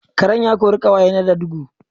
Karen ya ƙori ƙawaye na da dugu